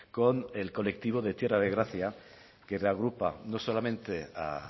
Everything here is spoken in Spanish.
con el colectivo de tierra de gracia que reagrupa no solamente a